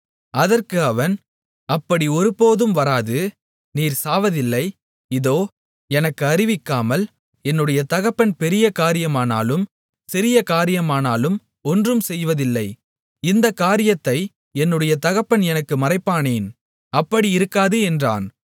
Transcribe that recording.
அதற்கு அவன் அப்படி ஒருபோதும் வராது நீர் சாவதில்லை இதோ எனக்கு அறிவிக்காமல் என்னுடைய தகப்பன் பெரிய காரியமானாலும் சிறிய காரியமானாலும் ஒன்றும் செய்வதில்லை இந்தக் காரியத்தை என்னுடைய தகப்பன் எனக்கு மறைப்பானேன் அப்படி இருக்காது என்றான்